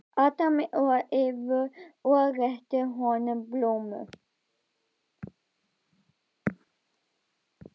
Adam og Evu og rétti honum plómu.